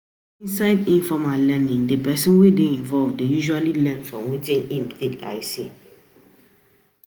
for inside informal learning di person wey dey involved dey usually learn from wetin im take eye see